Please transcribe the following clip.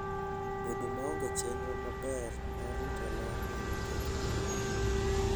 Bedo maonge chenro maber mar rito ler nyalo ketho kuwe.